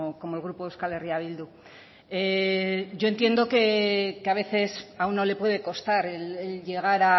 como el grupo euskal herria bildu yo entiendo que a veces a uno le puede costar el llegar